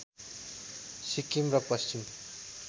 सिक्किम र पश्चिम